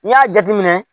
N'i y'a jateminɛ